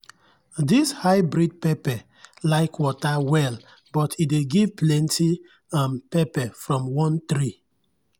this hybrid pepper like water well but e dey give plenty um pepper from one tree